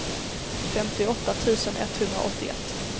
femtioåtta tusen etthundraåttioett